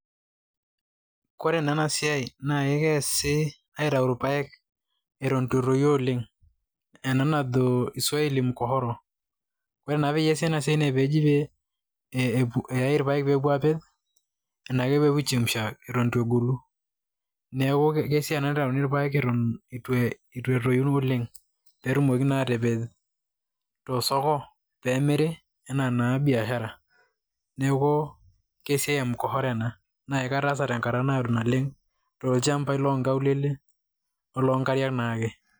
Kore naa ena siai naa keesi aitayu irpaek eton eitu etoyu oleng'. Ena najo iswahili [mkohoro]. Ore naa pee eesi ena siai na pee eji pee eyai irpaek pee epuoi aapej, enaa ke pee epuoi aaichemsha eton itu egolu. Neaku esiai ena naitayuni irpaek eton itu etoyu oleng', pee etumoki naa atapej to`soko pee emiri enaa na biashara. Neeku ke siai e mkohoro ena. Naa kataasa tenkata naado naleng', toolchambai loonkaulele o loonkariak naake.